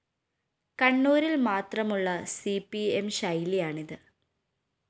കണ്ണൂരില്‍ മാത്രമുളള C P M ശൈലിയാണിത്